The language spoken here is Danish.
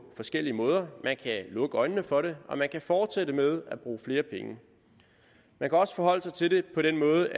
forskellige måder man kan lukke øjnene for det og man kan fortsætte med at bruge flere penge man kan også forholde sig til det på den måde